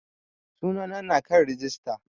Sunana na kan rijista